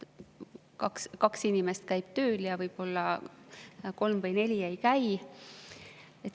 Kaks inimest käib tööl ja võib-olla kolm või neli ei käi.